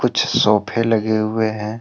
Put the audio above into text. कुछ सोफे लगे हुए हैं।